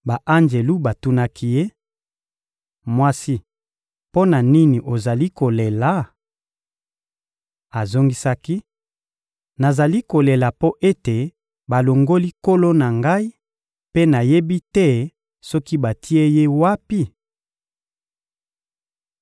Ba-anjelu batunaki ye: — Mwasi, mpo na nini ozali kolela? Azongisaki: — Nazali kolela mpo ete balongoli Nkolo na ngai mpe nayebi te soki batie Ye wapi?